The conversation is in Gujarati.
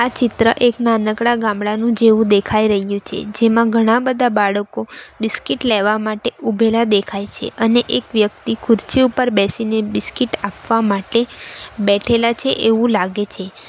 ચિત્ર એક નાનકડા ગામડાનું જેવું દેખાય રહ્યું છે જેમાં ઘણાબધા બાળકો બિસ્કીટ લેવા માટે ઉભેલા દેખાય છે અને એક વ્યક્તિ ખુરશી ઉપર બેસીને બિસ્કીટ આપવા માટે બેઠેલા છે એવું લાગે છે.